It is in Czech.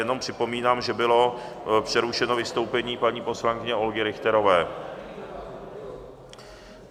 Jenom připomínám, že bylo přerušeno vystoupení paní poslankyně Olgy Richterové.